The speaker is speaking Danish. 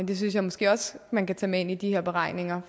det synes jeg måske også man kan tage med ind i de her beregninger